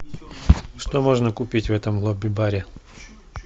что можно купить в этом лобби баре